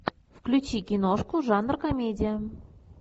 включи киношку жанр комедия